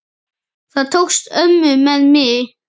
Það tókst ömmu með mig.